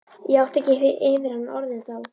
Ég átti ekki yfir hana orðin þá.